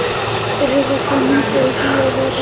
Eva, hvaða myndir eru í bíó á laugardaginn?